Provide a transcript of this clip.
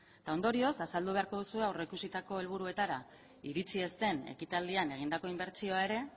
eta ondorioz azaldu beharko duzue aurrikusitako helburuetara iritsi ez den ekitaldian egindako inbertsioa ere